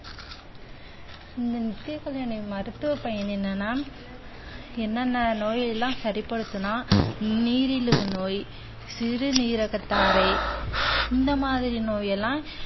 இந்த நித்திய கல்யாணி மருத்துவ பயன் என்னன்னா, என்னென்ன நோயெல்லாம் சரிப்படுத்தும்னா நீரிழிவு நோய், சிறுநீரகத்தாரை இந்த மாதிரி நோய் எல்லாம்